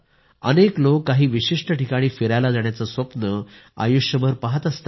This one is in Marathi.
अनेक लोक काही विशिष्ट ठिकाणी फिरायला जाण्याचं स्वप्न आयुष्यभर पहात असतात